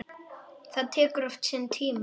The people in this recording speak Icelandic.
Það tekur oft sinn tíma.